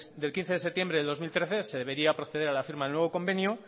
del quince de septiembre del dos mil trece se debería proceder a la firma del nuevo convenio